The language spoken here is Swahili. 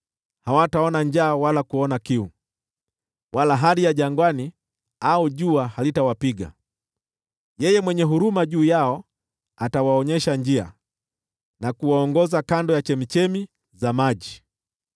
Hawataona njaa wala kuona kiu, wala hari ya jangwani au jua halitawapiga. Yeye mwenye huruma juu yao atawaonyesha njia, na kuwaongoza kando ya chemchemi za maji.